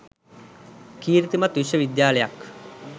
කීර්තිමත් විශ්ව විද්‍යාලයක්.